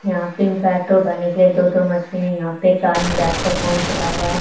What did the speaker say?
यहां पे इंपैक्टो बनने के लिए दो दो मशीन है यहां पे एक आदमी बैठ के फोन चला रहा --